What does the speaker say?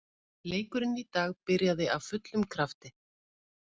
Leikurinn í dag byrjaði af fullum krafti.